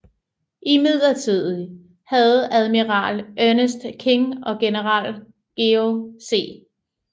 Imidlertid havde admiral Ernest King og general George C